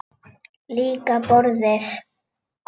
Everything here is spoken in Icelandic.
Líka borðið.